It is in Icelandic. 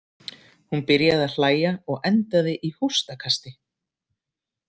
Hún byrjaði að hlæja og endaði í hóstakasti.